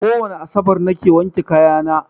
Kowane asabar na ke wanke kaya na